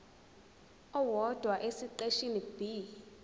owodwa esiqeshini b